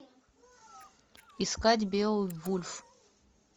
искать беовульф